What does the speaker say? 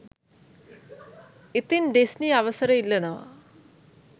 ඉතින් ඩිස්නි අවසර ඉල්ලනවා